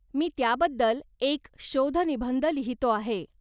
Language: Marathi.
मी त्याबद्दल एक शोधनिबंध लिहितो आहे.